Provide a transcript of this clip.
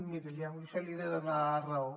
miri en això li he de donar la raó